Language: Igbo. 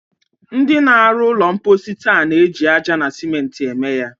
Ndị na-arụ ụlọ mposi taa na-eji aja na sèmenti eme ya.